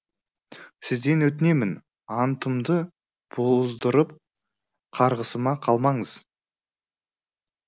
сізден өтінемін антымды бұздырып қарғысыма қалмаңыз